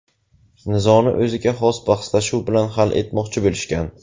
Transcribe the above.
Nizoni o‘ziga xos bahslashuv bilan hal etmoqchi bo‘lishgan.